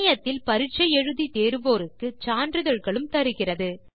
இணையத்தில் பரிட்சை எழுதி தேர்வோருக்கு சான்றிதழ்களும் தருகிறது